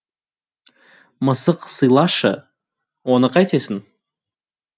мысық сыйлашы оны қайтесің